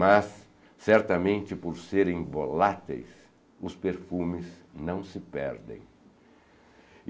Mas, certamente por serem voláteis, os perfumes não se perdem.